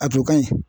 A jɔ ka ɲi